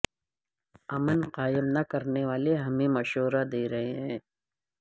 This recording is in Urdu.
امن قائم نہ کرنے والے ہمیں مشورہ دے رہے ہیں